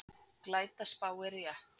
Glæta spáir rétt